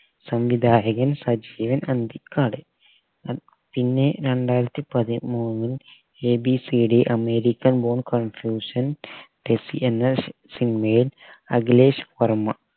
സംവിധായകൻ സജീവൻ അന്തിക്കാട് ആ പിന്നെ രണ്ടായിരത്തി പതിമൂന്നിൽ abcd american born confused desi എന്ന cinema യിൽ അഖിലേഷ് വർമ്മ സംവിധായകൻ സജീവൻ അന്തിക്കാട്